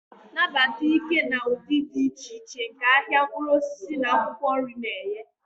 Nabata ike na ụdị dị iche iche nke ahịa mkpụrụ osisi na akwụkwọ nri na-enye.